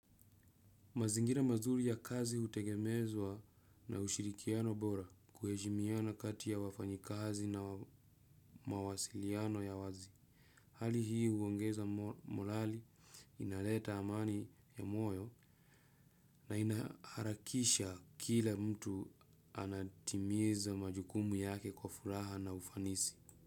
Mazingira mazuri ya kazi hutegemezwa na ushirikiano bora, kuheshimiana kati ya wafanyikazi na mawasiliano ya wazi. Hali hii huongeza molali, inaleta amani ya moyo na inaharakisha kila mtu anatimiza majukumu yake kwa furaha na ufanisi.